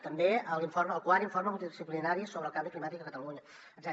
també el quart informe multidisciplinari sobre el canvi climàtic a catalunya etcètera